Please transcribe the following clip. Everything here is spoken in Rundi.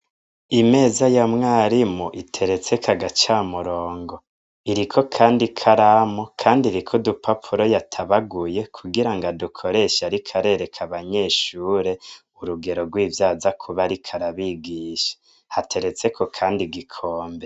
Imeza ya mwarimu iteretseko agacamurogo. Iriko kandi ikaramu kandi iriko udupapuro yatabaguye kugira ngo adukoreshe ariko arabasigurira abanyeshure urugero rw'ivyo aza kuba ariko arabigisha. Hateretseko kandi igikombe.